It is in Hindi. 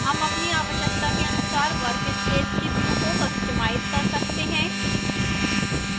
हम अपनी आवश्यकता के अनुसार workspace के we को customize कर सकते हैं